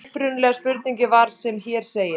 Upprunalega spurningin var sem hér segir: